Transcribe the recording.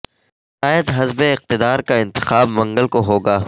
قائد حزب اقتدار کا انتخاب منگل کو ہو گا